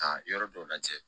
Ka yɔrɔ dɔw lajɛ